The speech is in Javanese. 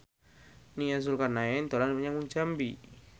Nia Zulkarnaen dolan menyang Jambi